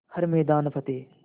हर मैदान फ़तेह